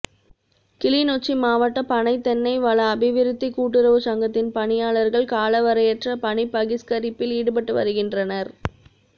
கிளிநொச்சி மாவட்ட பனை தென்னை வள அபிவிருத்திக் கூட்டுறவுச் சங்கத்தின் பணியாளர்கள் காலவரையறையற்ற பணிப் பகிஸ்கரிப்பில் ஈடுப்பட்டு வருகின்றனர்